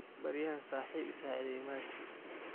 Beriyahan saxip iisacidheyo maxasti.